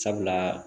Sabula